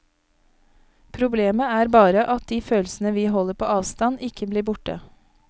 Problemet er bare at de følelsene vi holder på avstand, ikke blir borte.